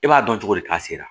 E b'a dɔn cogo di k'a sera